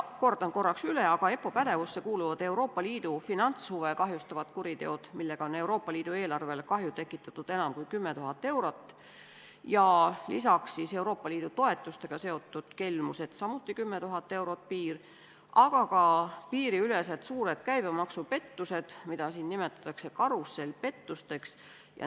Kordan üle, et EPPO pädevusse kuuluvad Euroopa Liidu finantshuve kahjustavad kuriteod, millega on Euroopa Liidu eelarvele kahju tekitatud enam kui 10 000 eurot, ja Euroopa Liidu toetustega seotud kelmused, samuti on piir 10 000, aga ka piiriülesed suured käibemaksupettused, mida siin nimetatakse karussellpettusteks.